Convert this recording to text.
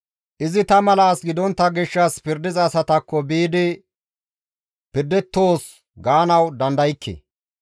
Izi ta mala as gidontta gishshas, pirdiza asataakko biidi pirdettoos gaanawu dandaykke.